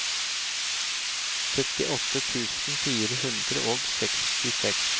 syttiåtte tusen fire hundre og sekstiseks